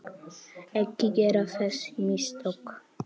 Ekki gera þessi mistök.